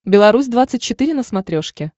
беларусь двадцать четыре на смотрешке